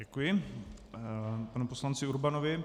Děkuji panu poslanci Urbanovi.